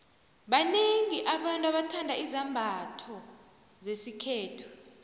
baxiengi abantu abathanda izambotho zesikhethu